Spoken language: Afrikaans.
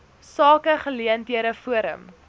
sake geleenthede forum